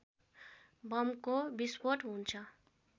बमको विस्फोट हुन्छ